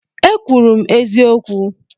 E kwuru m eziokwu